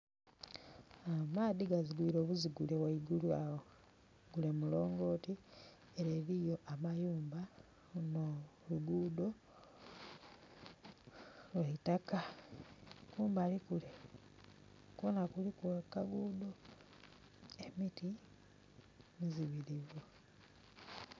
Amaadhi gazigwire bwa buzigule weigulu awo gule mulongoti ere eriyo amayumba luno lugudho lweitaka kumabli kule kwona kuliku akagudho emiti mizibirivu.